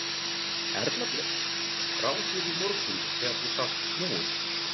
Erla Björg: Brá þér í morgun þegar þú sást snjóinn?